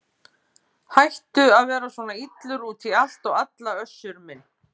Hættu að vera svona illur út í allt og alla Össur minn.